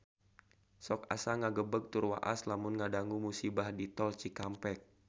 Sok asa ngagebeg tur waas lamun ngadangu musibah di Tol Cikampek